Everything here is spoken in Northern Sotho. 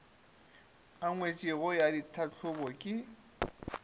e ngwetšwego ya tlhahlobo ke